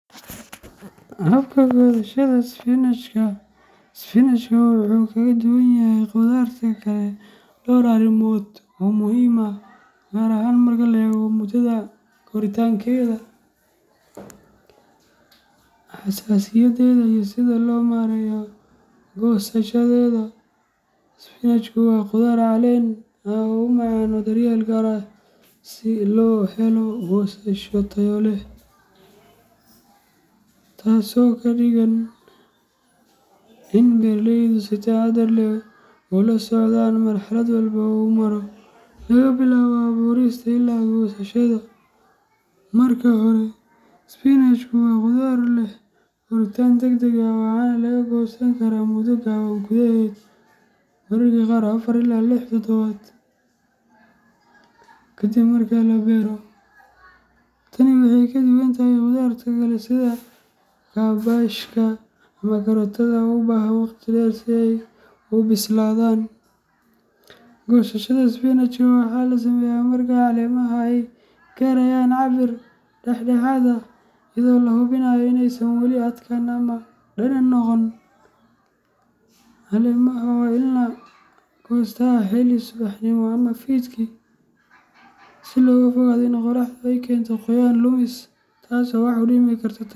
Habka goosashada isbinajka sbinajka wuxuu kaga duwan yahay khudaarta kale dhowr arrimood oo muhiim ah, gaar ahaan marka la eego muddada koritaankeeda, xasaasiyadeeda, iyo sida loo maareeyo goosashadeeda. Isbinajku waa khudaar caleen ah oo u baahan daryeel gaar ah si loo helo goosasho tayo leh, taas oo ka dhigan in beeraleyda ay si taxaddar leh ula socdaan marxalad walba oo uu maro, laga bilaabo abuurista ilaa goosashada. Marka hore, isbinajku waa khudaar leh koritaan degdeg ah, waxaana laga goosan karaa muddo gaaban gudaheed, mararka qaar afaar ilaa lix toddobaad kaddib marka la beero. Tani waxay kaga duwan tahay khudaarta kale sida kaabashka ama karootada oo u baahan waqti dheer si ay u bislaadaan. Goosashada isbinajka waxaa la sameeyaa marka caleemaha ay gaarayaan cabbir dhexdhexaad ah, iyadoo la hubinayo in aysan weli adkaan ama dhanaan noqon. Caleemaha waa in la goostaa xilli hore subaxnimo ama fiidkii si looga fogaado in qorraxdu ay keento qoyaan lumis, taas oo wax u dhimi karta tayada.